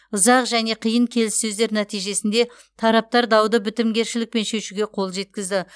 ұзақ және қиын келіссөздер нәтижесінде тараптар дауды бітімгершілікпен шешуге қол жеткізді